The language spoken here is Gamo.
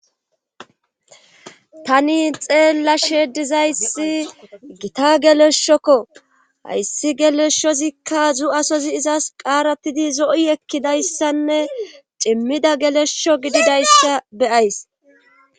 tani xeella shedizayssi gita geleshokko hayssi geleshozikka zu7asozi izas qaarattidi zo7i ekkidayssanne cimmida gelesho gididayssa beyays